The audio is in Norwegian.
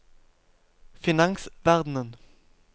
finansverden